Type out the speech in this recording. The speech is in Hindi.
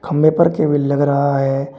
खंभे पर केबिल लग रहा है।